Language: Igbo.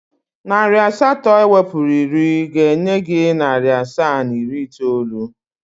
Narị asatọ ewepụrụ iri ga-enye gị narị asaa na iri itoolu.